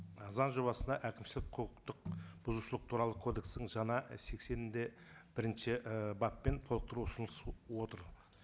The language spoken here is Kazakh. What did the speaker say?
і заң жобасына әкімшілік құқықтық бұзушылық туралы кодексін жаңа сексен де бірінші і баппен толықтыру отыр